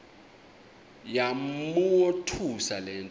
yamothusa le nto